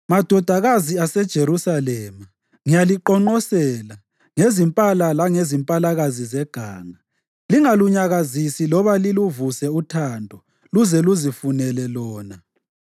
Madodakazi aseJerusalema, ngiyaliqonqosela ngezimpala langezimpalakazi zeganga. Lingalunyakazisi loba liluvuse uthando luze luzifunele lona.